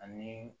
Ani